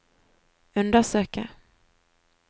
undersøke